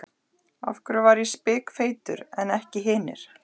Af hverju var ég spikfeitur en ekki hinir?